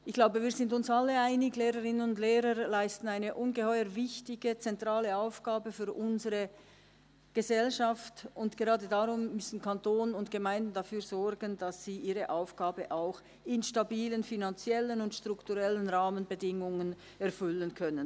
Ich glaube, wir sind uns alle einig: Lehrerinnen und Lehrer leisten eine ungeheuer wichtige, zentrale Aufgabe für unsere Gesellschaft, und gerade darum müssen Kanton und Gemeinden dafür sorgen, dass sie ihre Aufgabe auch in stabilen finanziellen und strukturellen Rahmenbedingungen erfüllen können.